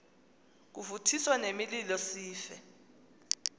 kuvuthiswe nemililo sife